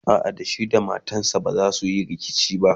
a'a da shi da matansa bazasu Yi rikici ba